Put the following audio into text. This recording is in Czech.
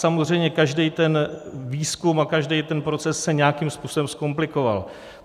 Samozřejmě každý ten výzkum a každý ten proces se nějakým způsobem zkomplikoval.